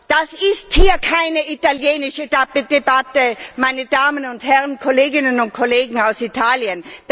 Das ist hier keine italienische Debatte, meine Damen und Herren Kolleginnen und Kollegen aus Italien!